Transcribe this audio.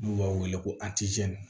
N'u b'a wele ko